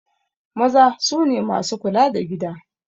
Maza sune masu kula da gida